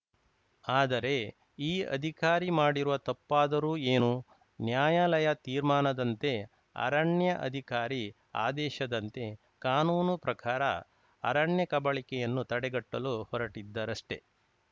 ಆದರೆ ಈ ಅಧಿಕಾರಿ ಮಾಡಿರುವ ತಪ್ಪಾದರೂ ಏನು ನ್ಯಾಯಾಲಯ ತೀರ್ಮಾನದಂತೆ ಅರಣ್ಯ ಅಧಿಕಾರಿ ಆದೇಶದಂತೆ ಕಾನೂನು ಪ್ರಕಾರ ಅರಣ್ಯ ಕಬಳಿಕೆಯನ್ನು ತಡೆಗಟ್ಟಲು ಹೊರಟಿದ್ದರಷ್ಟೆ